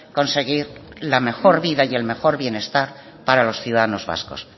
conseguir la mejor vida y el mejor bienestar para los ciudadanos vascos